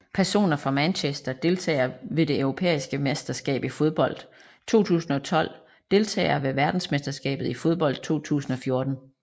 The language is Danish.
Personer fra Manchester Deltagere ved det europæiske mesterskab i fodbold 2012 Deltagere ved verdensmesterskabet i fodbold 2014